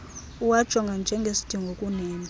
uwajonge njengesidingo kunento